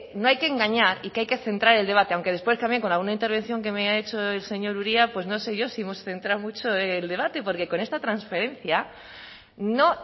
no hay que engañar y que hay que centrar el debate aunque después cambie con alguna intervención que me ha hecho el señor uria pues no sé yo si hemos centrado mucho el debate porque con esta transferencia no